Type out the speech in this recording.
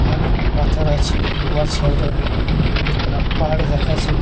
অনেক পাথর আছে উহার সাইড -এ দুখানা পাহাড় দেখাচ্ছে ।